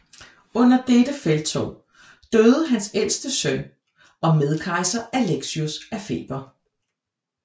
Under dettte felttog døde hans ældste søn og medkejser Alexios af feber